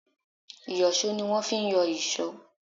Ìyọ̀ṣó ni wón fi ń yọ ìṣọ́.